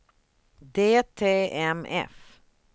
DTMF